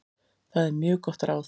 Það er mjög gott ráð.